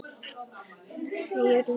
Jafnvel bara ís með dýfu og öllu saman.